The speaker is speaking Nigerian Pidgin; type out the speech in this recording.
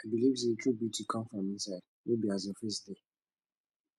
i believe sey true beauty dey come from inside no be as your face dey